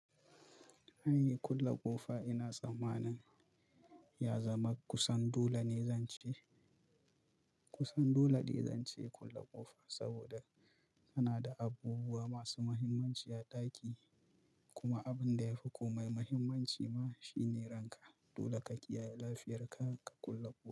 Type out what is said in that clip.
Kulle ƙofa ina tsamanin ya zama kusan dole ne zance, kusan dole ne zance kulle ƙofa saboda ina da abubuwa masu muhimmanci a ɗaki. Kuma abin da yafi komai muhimmanci ma shine ranka. Dole ka kiyaye lafiyar ka, ka kulle ƙofa.